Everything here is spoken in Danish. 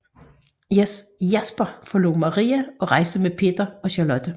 Jasper forlod Maria og rejste med Peter og Charlotte